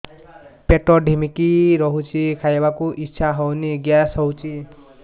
ପେଟ ଢିମିକି ରହୁଛି ଖାଇବାକୁ ଇଛା ହଉନି ଗ୍ୟାସ ହଉଚି